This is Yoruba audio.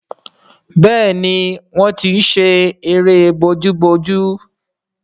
Béèni wón tí ṣe eré Pàmò àti àwárí.